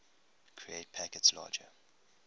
create packets larger